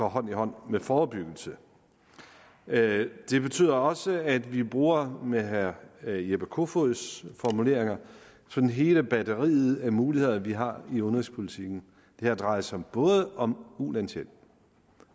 hånd i hånd med forebyggelse det betyder også at vi bruger med herre jeppe kofods formulering sådan hele batteriet af muligheder vi har i udenrigspolitikken det her drejer sig om ulandshjælp